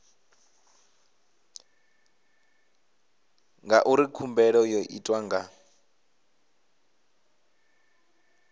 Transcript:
ngauri khumbelo yo itwa nga